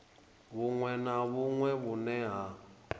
vhuṅwe na vhuṅwe vhune ha